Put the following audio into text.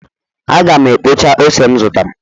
Aga m ekpocha ose m zụtara